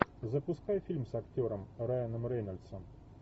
запускай фильм с актером райаном рейнольдсом